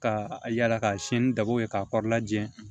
Ka yala ka siyɛn ni dabo ye k'a kɔrɔla jɛ